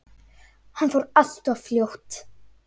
Hann fór allt of fljótt.